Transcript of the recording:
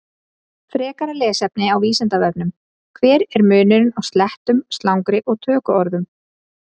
Frekara lesefni á Vísindavefnum: Hver er munurinn á slettum, slangri og tökuorðum?